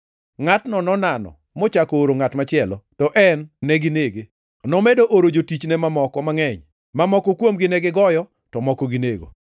Ngʼatno nonano, mochako ooro ngʼat machielo, to en neginege. Nomedo oro jotichne mamoko mangʼeny, mamoko kuomgi negigoyo to moko ginego.